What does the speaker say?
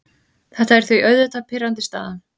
Þetta er því auðvitað pirrandi staða.